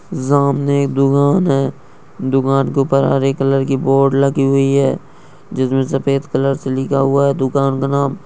सामने एक दुकान है दुकान के ऊपर हरे कलर की बोर्ड लगी हुई है जिसमें सफ़ेद कलर से लिखा हुआ है दुकान का नाम।